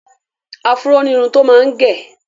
Afúró ni irun tó máa gẹ.